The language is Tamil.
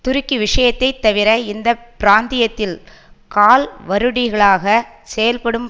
துருக்கி விஷயத்தை தவிர இந்த பிராந்தியத்தில் கால்வருடிகளாக செயல்படும்